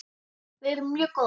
Við erum mjög góðar.